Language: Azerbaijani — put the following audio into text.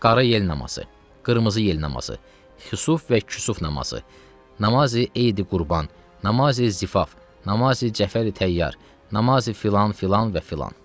Qara yel namazı, qırmızı yel namazı, xusuf və kusuf namazı, namazi Eid-i Qurban, namazi Zifaf, namazi Cəfəri Təyyar, namazi filan, filan və filan.